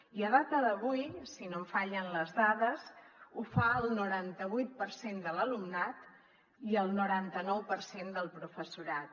i a data d’avui si no em fallen les dades ho fa el noranta vuit per cent de l’alumnat i el noranta nou per cent del professorat